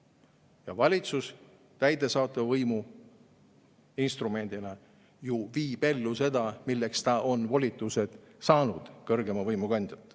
Ja valitsus täidesaatva võimu instrumendina ellu viima seda, milleks ta on volituse saanud kõrgeima võimu kandjalt.